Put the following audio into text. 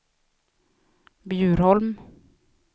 Bjurholm